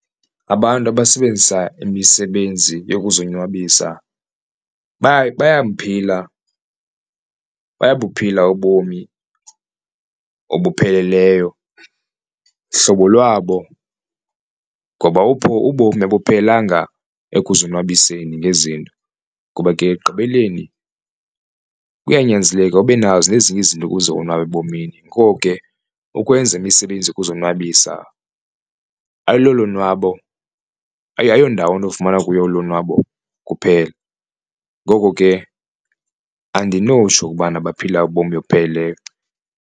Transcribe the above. Abantu abasebenzisa imisebenzi yokuzonwabisa bayamphila bayabuphila ubomi obupheleleyo hlobo lwabo ngoba apho ubomi abuphelelanga ekuzonwabiseni ngezinto ngoba ke ekugqibeleni kuyanyanzeleka ube nazo nezinye izinto ukuze onwabe ebomini. Ngoko ke ukwenza imisebenzi ukuzonwabisa ayololonwabo ayondawo unofumana kuyo ulonwabo kuphela, ngoko ke andinotsho ukubana baphila ubomi obupheleleyo.